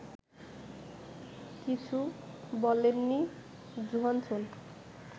কিছু বলেননি জোহানসন